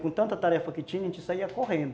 Com tanta tarefa que tinha, a gente saía correndo.